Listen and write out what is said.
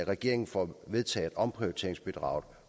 regeringen får vedtaget omprioriteringsbidraget